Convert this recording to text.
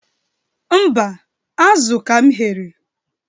Mba, azụ ka m ghere.